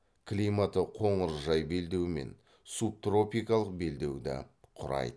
климаты қоңыржай белдеумен субтропикалық белдеуді құрайды